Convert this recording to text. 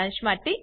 સારાંશ માટે